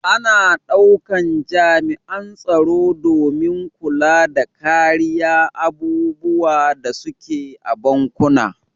Ana daukan jami'an tsaro domin kulla da kariya abubuwan da su ke a bankuna.